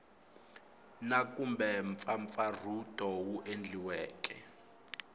na kumbe mpfampfarhuto wu endliweke